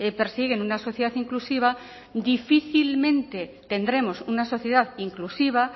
persiguen una sociedad inclusiva difícilmente tendremos una sociedad inclusiva